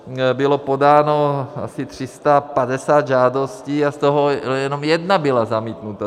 Bylo podáno asi 350 žádostí a z toho jenom jedna byla zamítnuta.